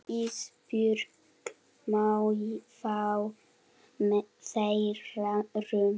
Ísbjörg má fá þeirra rúm.